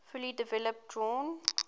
fully developed drawn